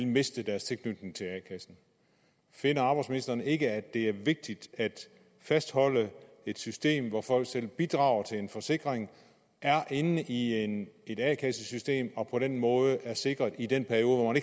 miste deres tilknytning til a kassen finder arbejdsministeren ikke at det er vigtigt at fastholde et system hvor folk selv bidrager til en forsikring er inde i et a kassesystem og på den måde er sikret i den periode